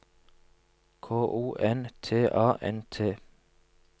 K O N T A N T